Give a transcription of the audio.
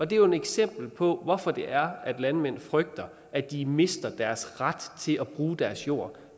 det er jo et eksempel på hvorfor det er at landmænd frygter at de mister deres ret til at bruge deres jord